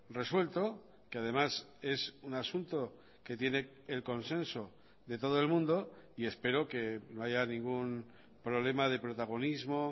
resuelto que además es un asunto que tiene el consenso de todo el mundo y espero que no haya ningún problema de protagonismo